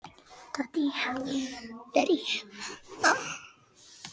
Bráðum var mál að vekja menn.